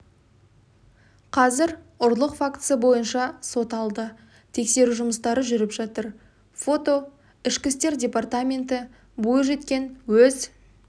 қазір ұрлық фактісі бойынша сот алды тексеру жұмыстары жүріп жатыр фото ішкі істер департаменті бойжеткен өз